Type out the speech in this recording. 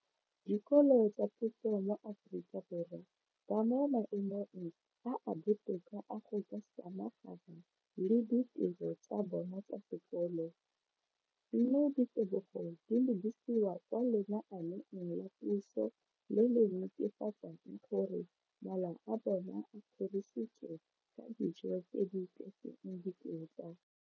dikolo tsa puso mo Aforika Borwa ba mo maemong a a botoka a go ka samagana le ditiro tsa bona tsa sekolo, mme ditebogo di lebisiwa kwa lenaaneng la puso le le netefatsang gore mala a bona a kgorisitswe ka dijo tse di tletseng dikotla.